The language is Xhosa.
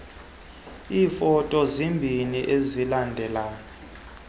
iifoto ezimbini ezilingana